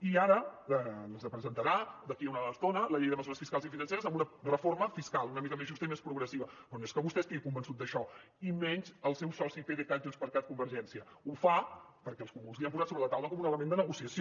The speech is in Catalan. i ara ens presentarà d’aquí a una estona la llei de mesures fiscals i financeres amb una reforma fiscal una mica més justa i més progressiva però no és que vostè estigui convençut d’això i menys els seu soci pdecat junts per cat convergència ho fa perquè els comuns li han posat sobre la taula com un element de negociació